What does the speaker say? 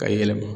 Ka yɛlɛma